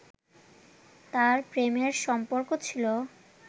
তার প্রেমের সম্পর্ক ছিল